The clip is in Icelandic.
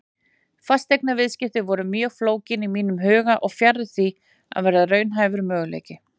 Fasteignaviðskipti voru mjög flókin í huga mínum og fjarri því að vera raunhæfur möguleiki.